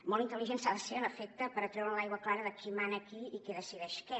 molt intel·ligent s’ha de ser en efecte per treure l’aigua clara de qui mana a qui i qui decideix què